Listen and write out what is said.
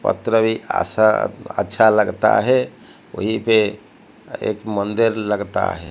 पत्रवी आशा अच्छा लगता है वहीं पे एक मंदिर लगता है।